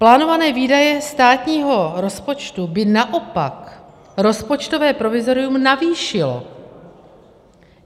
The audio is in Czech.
Plánované výdaje státního rozpočtu by naopak rozpočtové provizorium navýšilo.